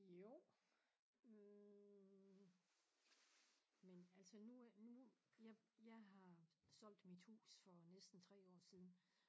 Jo hm men altså nu øh nu jeg jeg har solgt mit hus for næsten 3 år siden